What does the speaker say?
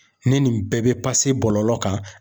Ni nin bɛɛ bɛ bɔlɔlɔ kan